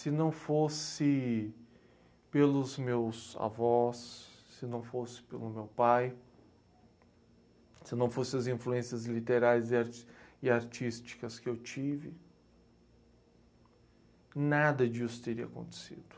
Se não fosse pelos meus avós, se não fosse pelo meu pai, se não fosse as influências literais e art e artísticas que eu tive, nada disso teria acontecido.